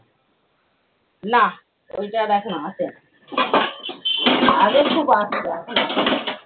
না ওইটা আর এখন আসে না। আগে খুব আসতো এখন আসে না।